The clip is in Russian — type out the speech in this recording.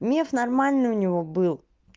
миф нормальный у него был